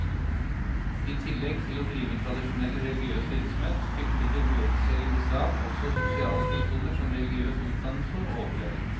I tillegg til å drive tradisjonell religiøs virksomhet, fylte det uoffisielle islam også sosiale funksjoner som religiøs utdannelse og opplæring.